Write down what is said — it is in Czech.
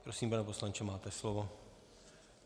Prosím, pane poslanče, máte slovo.